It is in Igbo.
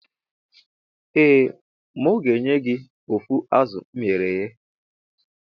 Ee mu ga enye gi of azu eghere eghe.